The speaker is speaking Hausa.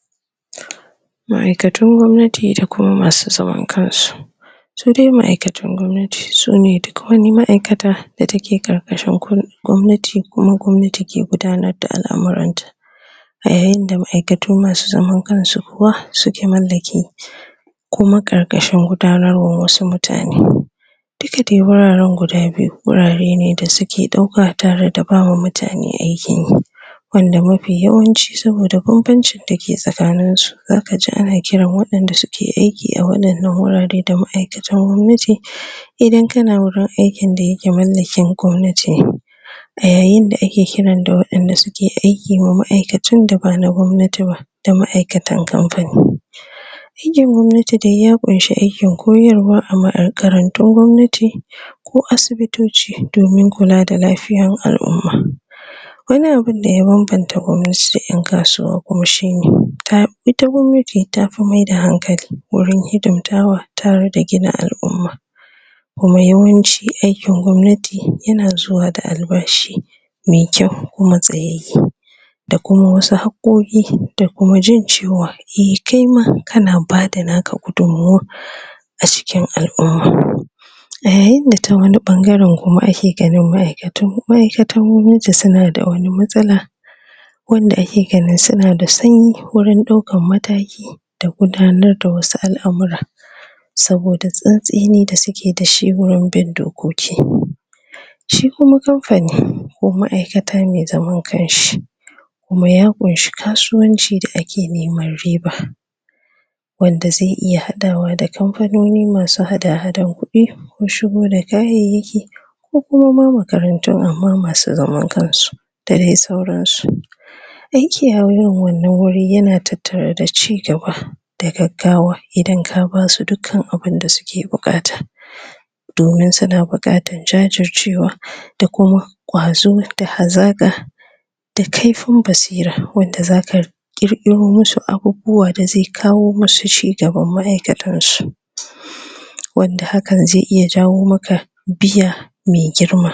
??? ma'aikatun gwamnati da kuma masu xaman kansu su dai ma'aikatun gwamnati sune duk wani ma'aikata da take karkashin kulawan gwamnati kuma gwamnati ke gudanar da al'amuranta a yayin da ma'aikatu masu zaman kansu kuwa suke mallake kuma karkashin gudanar wasu mutane duka dai wuraren guda biyu wurare ne da suke dauka tare da ba ma mutane aikinyi wanda mafi yawanci saboda banbancin dake tsakaninsu zakaji ana kiran wadanda suke aiki a wadannan wuraren da ma'aikatan gwamnati idan kana wurin aikin da yake mallakin gwamnati ne a yayin da ake kiran da wadanda suke aiki wa ma'aikatun da ba na gwamnati ba da ma'aikatan kamfani aikin gwamnati dai ya kunshi aikin koyarwa a makarantun gwamnati ko asibitoci domin kula da lafiyar al'umma wani abun da ya banbanta gwamnati da yan kasuwa kuma shine ta ita gwamnati tafi maida hankali wurin hidimtawa tare da gina al'umma kuma yawanci aikin gwamnati yana xuwa da albashi me kyau kuma tsayayye da kuma wasu haqqoki da kuma jin cewa eh kaima kana bada naka gudunmawa a cikin al'umma a yayin da ta wani bangaren kuma ake ganin ma'aikatu, ma'aikatan gwamnati suna da wani matsala wanda ake ganin suna da sanyi wurin daukan mataki da gudanar da wasu al'amura saboda tsantseni da suke dashi wurin bin dokoki shi kuma kamfani ko ma'aikata me zaman kanshi kuma ya kunshi kasuwanci da ake neman riba wanda xai hadawa da kamfanoni masu hada-hadan kudi ko shigo da kayayyaki ko kuma ma makarantu amma masu zaman kansu da dai sauransu aiki a irin wannan wuri yana tattare da chigaba da gaggawa idan ka basu dukkan abun da suke bukata?? domin suna bukatar jajircewa da kuma kwazo da hazaka da kaifin basira wanda zaka qirqiro masu abubuwa da zai kawo masu chigaban ma'aikatansu wanda hakan zai iya jawo maka biya me girma